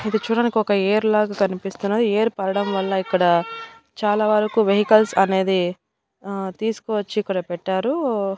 ఇది చూడానికొక యేర్ లాగా కనిపిస్తున్నది యేర్ పారడం వల్ల ఇక్కడ చాలా వరకు వెహికల్స్ అనేది ఆ తీసుకువచ్చి ఇక్కడ పెట్టారు.